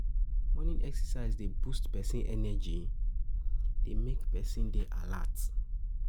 Morning exercise dey boost person energy, e dey make person dey alert